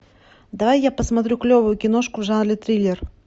давай я посмотрю клевую киношку в жанре триллер